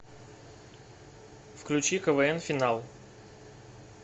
включи квн финал